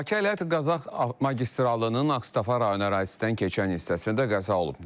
Bakı-Ələt-Qazax magistralının Ağstafa rayonu ərazisindən keçən hissəsində qəza olub.